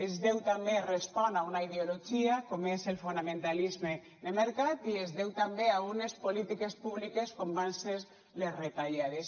es deu també respon a una ideologia com és el fonamentalisme de mercat i es deu també a unes polítiques públiques com van ser les retallades